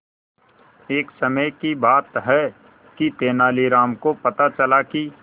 एक समय की बात है कि तेनालीराम को पता चला कि